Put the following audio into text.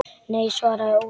Nei, svaraði Ólafur.